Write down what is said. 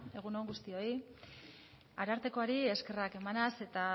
egun on guztioi arartekoari eskerrak emanaz eta